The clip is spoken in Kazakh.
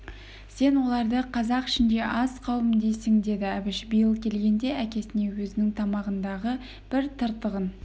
сен оларды қазақ ішінде аз қауым дейсің деді әбіш биыл келгенде әкесіне өзінің тамағындағы бір тыртығын